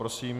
Prosím.